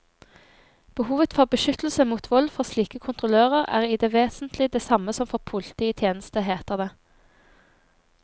Behovet for beskyttelse mot vold for slike kontrollører er i det vesentlige det samme som for politi i tjeneste, heter det.